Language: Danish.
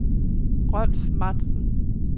Rolf Matzen